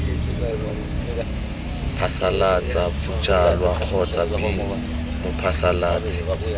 phasalatsa bojalwa kgotsa b mophasalatsi